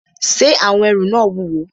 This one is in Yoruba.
Ṣé àwọn ẹrù náà wúwo?